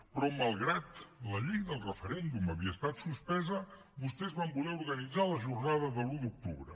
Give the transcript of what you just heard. però malgrat que la llei del referèndum havia estat suspesa vostès van voler organitzar la jornada de l’un de l’octubre